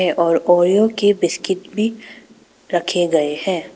और ओरियो के बिस्किट भी रखे गए हैं।